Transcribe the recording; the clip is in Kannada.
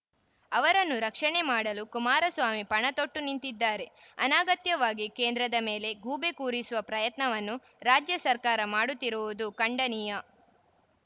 ಅವರನ್ನು ರಕ್ಷಣೆ ಮಾಡಲು ಕುಮಾರಸ್ವಾಮಿ ಪಣತೊಟ್ಟು ನಿಂತಿದ್ದಾರೆ ಅನಾಗತ್ಯವಾಗಿ ಕೇಂದ್ರದ ಮೇಲೆ ಗೂಬೆ ಕೂರಿಸುವ ಪ್ರಯತ್ನವನ್ನು ರಾಜ್ಯ ಸರ್ಕಾರ ಮಾಡುತ್ತಿರುವುದು ಖಂಡನೀಯ